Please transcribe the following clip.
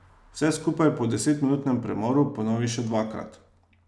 Vse skupaj po desetminutnem premoru ponovi še dvakrat.